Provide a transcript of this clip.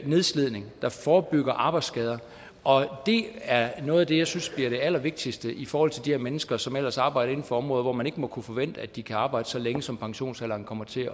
nedslidning der forebygger arbejdsskader og det er noget af det jeg synes bliver det allervigtigste i forhold til de her mennesker som ellers arbejder inden for områder hvor man ikke må kunne forvente at de kan arbejde så længe som pensionsalderen kommer til